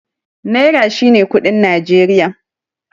Naira shine kuɗin Najeriya.